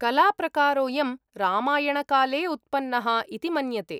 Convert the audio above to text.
कलाप्रकारोयं रामायणकाले उत्पन्नः इति मन्यते।